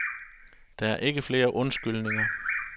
Der er ikke flere undskyldninger.